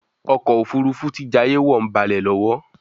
ọkọ̀ òfurufú tí jayé wọ ń balè lówó.